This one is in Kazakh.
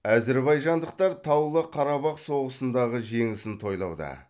әзербайжандықтар таулы қарабақ соғысындағы жеңісін тойлауда